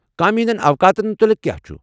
کامہِ ہندین اوقاتن متعلق كیاہ چُھ ؟